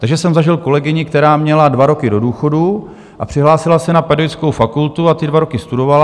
Takže jsem zažil kolegyni, která měla dva roky do důchodu a přihlásila se na pedagogickou fakultu a ty dva roky studovala.